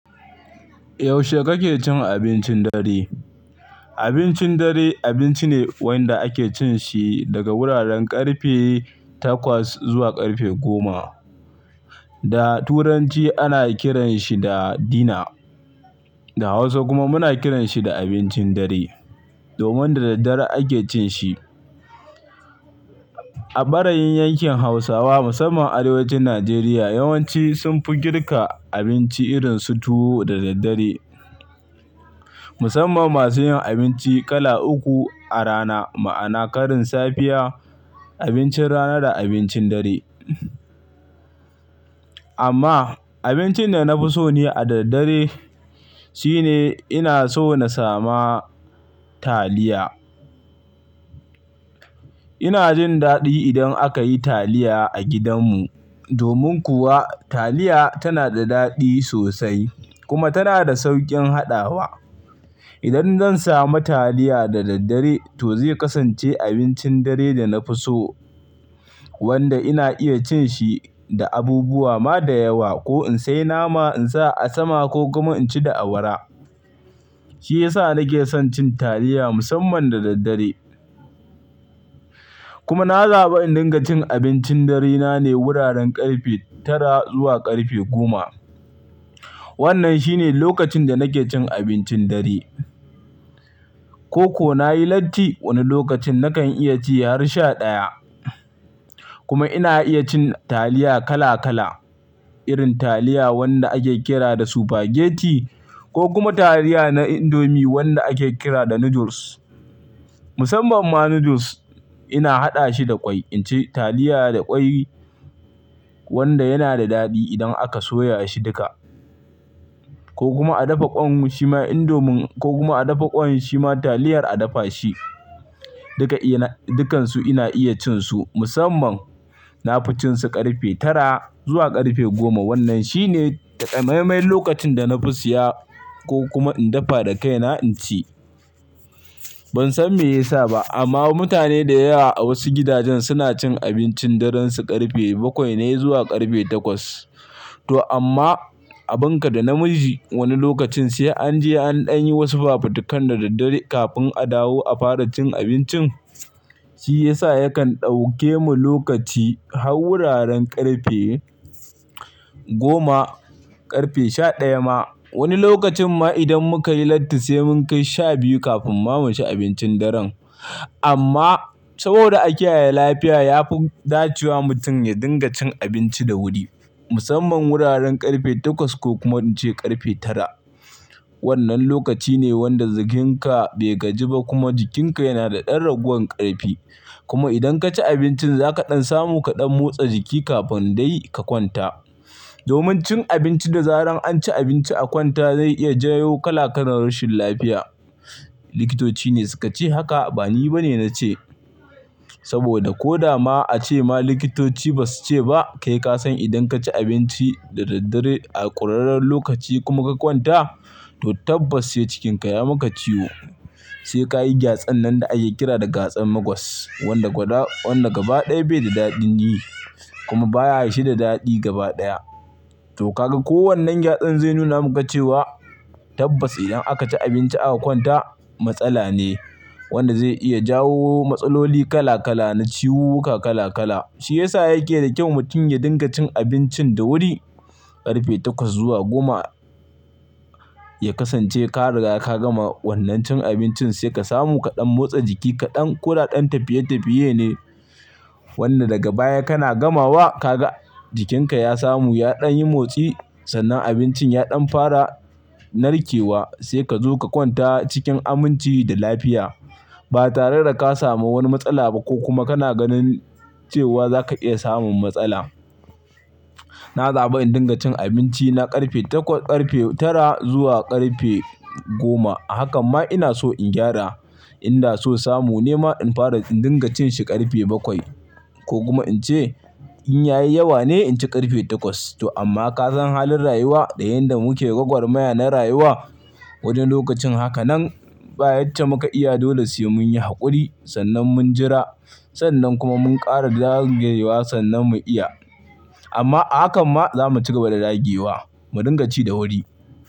Yaushe kake cin abincin dare? Abincin dare, abinci ne wanda ake cin shi daga wuraren ƙarfe takwas zuwa ƙarfe goma. Da turanci ana kiranshi da "dinner" da hausa kuma muna kiranshi da abincin dare, domin da daddare ake cin shi. A ɓarayin yankin hausawa musamman arewacin nigeria yawanci sun fi girka abinci irin su tuwo da daddare. Musamman masu yin abinci kala uku a rana ma'ana karin safiya, abincin rana da abincin dare. Amma abincin da na fi so ne a daddare shine ina so na sama taliya. Ina jin daɗi idan aka yi taliya a gidanmu domin kuwa taliya tana da daɗi sosai kuma tana da sauƙin haɗawa. Idan zan samu taliya da daddare to zai kasance abincin dare da na fi so wanda ina iya cin shi da abubuwa ma da yawa ko in seya nama in sa a sama ko kuma in ci da awara. Shi ya sa nake son cin taliya musamman da daddare. Kuma na zaɓi in dinga cin abincin dare na ne wuraren ƙarfe tara zuwa ƙarfe goma. Wannan shine lokacin da nake cin abincin dare. Ko ko na yi latti wani lokacin nakan iya ci har sha ɗaya. Kuma ina iya cin taliya kala kala irin taliya wanda ake kira da spaghetti ko kuma taliya na indomie wanda ake kira da noodles. Musamman ma noodles ina haɗa shi da ƙwai in ci taliya da ƙwai wanda yana da daɗi idan aka soya shi dika ko kuma a dafa ƙwan shi ma indomie ko kuma a dafa ƙwan shi ma taliyar a dafa shi. Duka ina dukansu ina iya cin su musamman na fi cin su ƙarfe tara zuwa ƙarfe goma. Wannan shine taƙamaiman lokacin da na fi siya ko kuma in dafa da kaina in ci. Ban san me ya sa ba amma mutane da yewa a wasu gidajen suna cin abincin daren su ƙarfe bakwai ne zuwa ƙarfe takwas. To amma a bunka da namiji wani lokacin sai an je an ɗan yi wasu fafutukan da daddare kafin a dawo a fara cin abincin. Shi ya sa yakan ɗauke mu lokaci har wuraren ƙarfe goma, ƙarfe sha ɗaya ma. Woni lokacin ma idan muka yi latti sai mun kai sha biyu kafin ma mu ci abincin dare. Amma saboda a kiyaye lafiya ya fi dacewa mutum ya dinga cin abinci da wuri musamman wuraren ƙarfe takwas ko kuma in ce ƙarfe tara. Wannan lokaci ne wanda jikinka bai gaji ba kuma jikinka yana da ɗan ragowar ƙarfi. Kuma idan ka ci abincin za ka ɗan samu ka ɗan motsa jiki kafin dai ka kwanta. Domin cin abinci da zarar an ci abinci a kwanta zai iya jawo kala kalan rashin lafiya. Likitoci ne suka ce haka ba ni ba ne na ce. Saboda ko da ma a ce ma likitoci ba su ce ba kai ka san idan ka ci abinci da daddare a ƙurerren lokaci kuma ka kwanta to tabbas sai cikinka ya maka ciwo. Sai ka yi gyatsan nan da ake kira da gyatsan magos wanda gwoda-wanda gaba ɗaya bai da daɗin yi kuma bashi da daɗi gaba ɗaya. To ka ga ko wannan gyatsan zai nuna muka cewa tabbas idan aka ci abinci a kwanta matsala ne wanda zai iya jawo matsaloli kala kala na ciwu-wuka kala kala. Shi ya sa yake da kyau mutum ya dinga cin abincin da wuri ƙarfe takwas zuwa goma ya kasance ka riga ka gama wannan cin abincin sai ka samu ka ɗan motsa jiki ka ɗan koda ɗan tafiye tafiye ne wanda daga baya kana gamawa ka ga jikinka ya samu ya ɗan yi motsi sannan abincin ya ɗan fara narkewa sai ka zo ka kwanta cikin aminci da lafiya ba tare da ka samu wani matsala ba ko kuma kana ganin cewa za ka iya samun matsala. Na zaɓi in dinga cin abinci na ƙarfe takwas ƙarfe tara zuwa ƙarfe goma. Hakan ma ina so in gyara. Inda so samu nema in fara in dinga cin shi ƙarfe bakwai ko kuma in ce in yayi yawa ne in ci ƙarfe takwas. To amma ka san halin rayuwa da yanda muke gwagwarmaya na rayuwa woni lokacin haka nan baya ce muka iya dole sai mun yi haƙuri sannan mun jira sannan kuma mun ƙara dagewa sannan mu iya. Amma a hakan ma za mu cigaba da dage wa mu dinga ci da wuri.